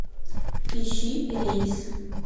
ищи рейс